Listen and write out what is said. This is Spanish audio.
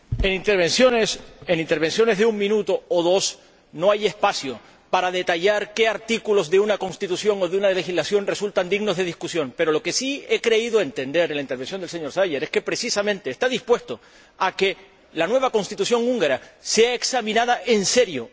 Señor Presidente, en intervenciones de un minuto o dos no hay espacio para detallar qué artículos de una Constitución o de una legislación son dignos de discusión, pero lo que sí he creído entender en la intervención del señor Szájer es que, precisamente, está dispuesto a que la nueva Constitución húngara sea examinada en serio.